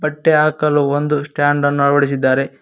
ಮಟ್ಟೆ ಆ ಕಲ್ಲು ಒಂದು ಸ್ಟಾಂಡ್ ಅನ್ನು ಅಳವಡಿಸಿದ್ದಾರೆ.